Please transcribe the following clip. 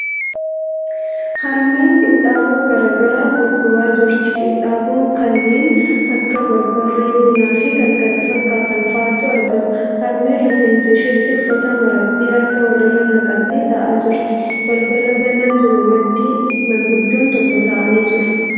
Harmeen qinxaaboo garagaraa gurguraa jirti. Qinxaaboo kanneen akka barbaree, buna fi kan kana fakkaatan fa'atu argama. Harmeen rifeensa isheetti uffata marattee harka walirra naqattee taa'aa jirti. Balbala banaa jiru maddii maanguddoon tokko taa'anii jiru.